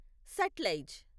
Sutlej